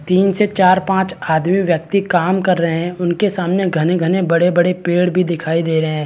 तिन से चार पांच आदमी व्यक्ति काम कर रहै है उनके सामने घने-घने बड़े-बड़े पेड़ भी दिखाई दे रहै है।